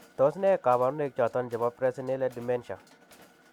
Tos nee kabarunaik choton chebo Presenile dementia ?